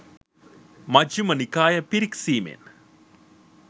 Majjhima Nikaya පිරික්සීමෙන්